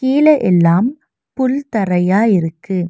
கீழ எல்லாம் புல் தரையா இருக்கு.